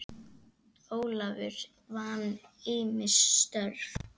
Ólafur vann ýmis störf.